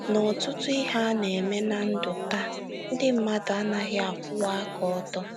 N’ọtụtụ ihe a na - eme ná ndụ taa, ndị mmadụ anaghị akwụwa aka ọtọ.